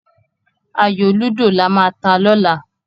Ayò lúdò lama ta lọ́la.